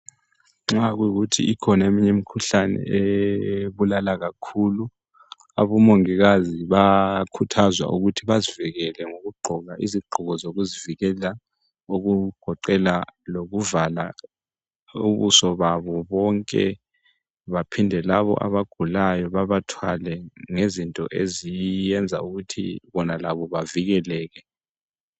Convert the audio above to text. Nxa kuyi kuthi ikhona eminye imikhuhlane ebulala kakhulu abomongikazi bayakhuthazwa ukuthi bazivikele ngokugqoka izigqoko zokuzivikela okugoqela lokuvala ubuso babo bonke baphinde labo abagulayo babathwale ngezinto eziyenza ukuthi bona labo bavikeleke.